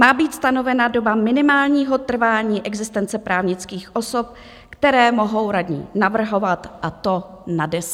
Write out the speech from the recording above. Má být stanovena doba minimálního trvání existence právnických osob, které mohou radní navrhovat, a to na deset let.